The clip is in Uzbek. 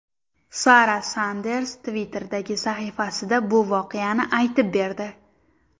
Sara Sanders Twitter’dagi sahifasida bu voqeani aytib berdi.